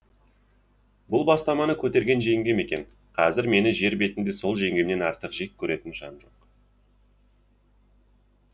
бұл бастаманы көтерген жеңгем екен қазір мені жер бетінде сол жеңгемнен артық жек көретін жан